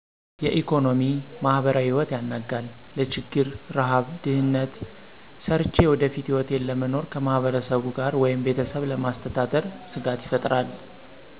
የኢኮኖሚ፣ ማህበራዊ ህይወት ያናጋል። ለችግር፣ ርሀብ ድህነት ሰርቸ የወደፊት ህይወቴን ለመኖር ከማህበረሰቡ ጋር ወይም ቤተሰብ ለማስተዳደር ስጋት ይፈጥራል።